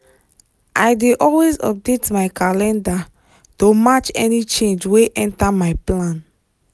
i dey always update my calendar to match any change wey enter my plan.